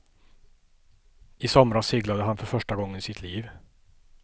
I somras seglade han för första gången i sitt liv.